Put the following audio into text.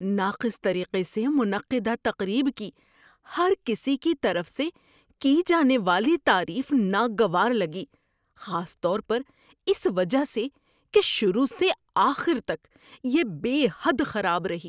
ناقص طریقے سے منعقدہ تقریب کی ہر کسی کی طرف سے کی جانے والی تعریف ناگوار لگی، خاص طور پر اس وجہ سے کہ شروع سے آخر تک یہ بے حد خراب رہی۔